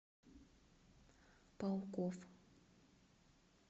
пауков